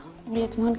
og létum hann